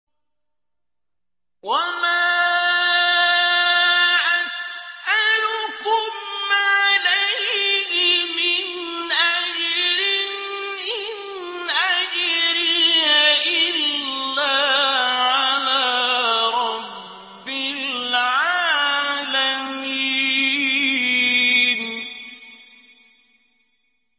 وَمَا أَسْأَلُكُمْ عَلَيْهِ مِنْ أَجْرٍ ۖ إِنْ أَجْرِيَ إِلَّا عَلَىٰ رَبِّ الْعَالَمِينَ